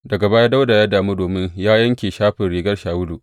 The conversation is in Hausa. Daga baya Dawuda ya damu domin ya yanke shafin rigar Shawulu.